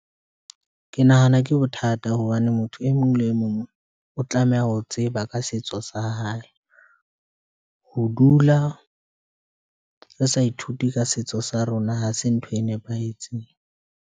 Ke nahana ke bothata hobane motho e mong le mong o tlameha ho tseba ka setso sa hae, ho dula re sa ithuti ka setso sa rona ha se ntho e nepahetseng.